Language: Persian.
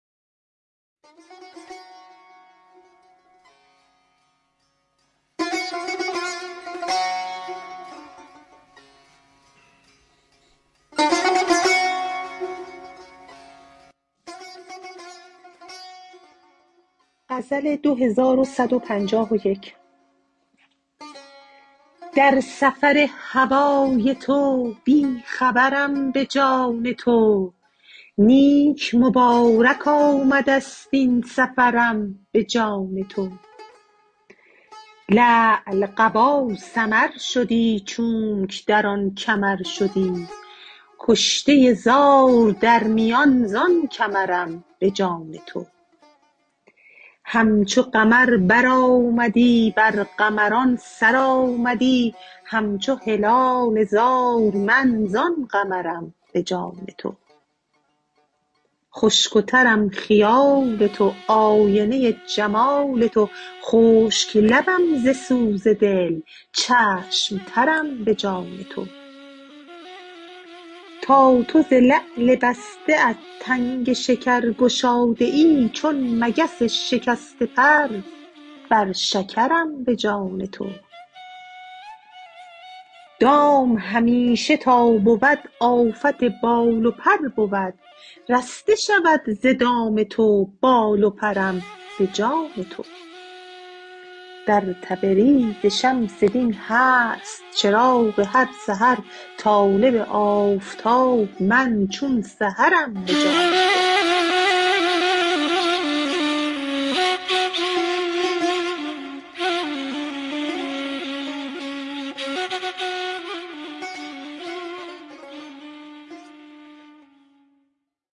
در سفر هوای تو بی خبرم به جان تو نیک مبارک آمده ست این سفرم به جان تو لعل قبا سمر شدی چونک در آن کمر شدی کشته زار در میان زان کمرم به جان تو همچو قمر برآمدی بر قمران سر آمدی همچو هلال زار من زان قمرم به جان تو خشک و ترم خیال تو آینه جمال تو خشک لبم ز سوز دل چشم ترم به جان تو تا تو ز لعل بسته ات تنگ شکر گشاده ای چون مگس شکسته پر بر شکرم به جان تو دام همیشه تا بود آفت بال و پر بود رسته شود ز دام تو بال و پرم به جان تو در تبریز شمس دین هست چراغ هر سحر طالب آفتاب من چون سحرم به جان تو